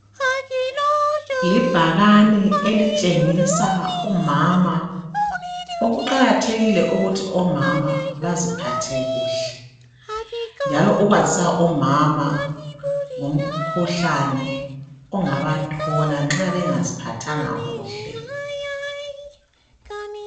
Libhakane elitshengisa umama. Kuqakathekile ukuthi omama baziphathe kuhle njalo ukwazisa omama ngomkhuhlane ongabathola nxa bengaziphathanga kuhle.